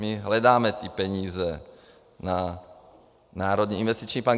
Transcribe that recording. My hledáme ty peníze na národní investiční plán.